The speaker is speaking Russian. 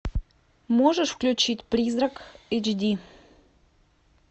можешь включить призрак эйч ди